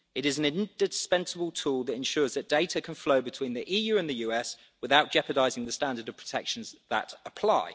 It is an indispensable tool that ensures that data can flow between the EU and the US without jeopardising the standard of protections that apply.